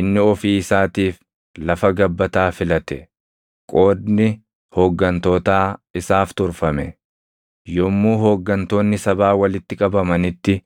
Inni ofii isaatiif lafa gabbataa filate; qoodni hooggantootaa isaaf turfame. Yommuu hooggantoonni sabaa walitti qabamanitti,